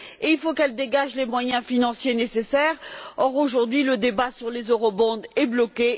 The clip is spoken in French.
Et il faut qu'elle dégage les moyens financiers nécessaires or, aujourd'hui, le débat sur les Eurobonds est bloqué